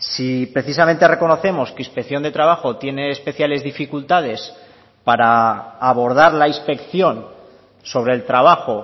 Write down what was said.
si precisamente reconocemos que inspección de trabajo tiene especiales dificultades para abordar la inspección sobre el trabajo